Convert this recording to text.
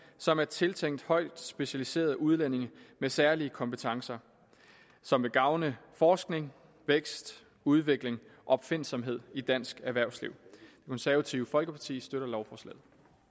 som er tiltænkt højt specialiserede udlændinge med særlige kompetencer som vil gavne forskning vækst udvikling og opfindsomhed i dansk erhvervsliv det konservative folkeparti støtter lovforslaget